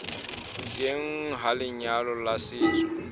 teng ha lenyalo la setso